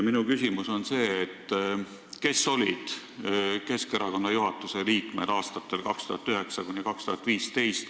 Minu küsimus on, kes olid Keskerakonna juhatuse liikmed aastatel 2009–2015.